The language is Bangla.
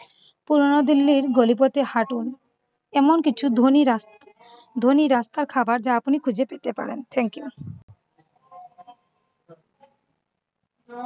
পুরানো দিল্লির গলি পথে হাঁটুর, এমন কিছু ধনী রা~ ধনী রাস্তার খাবার যা আপনি খুঁজে পেতে পারেন। thank you